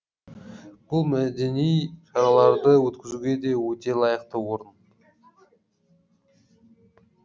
бұл мәдени шараларды өткізуге де өте лайықты орын